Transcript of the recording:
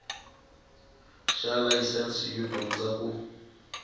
xa layisense yo dyondza ku